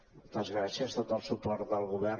moltes gràcies tot el suport del govern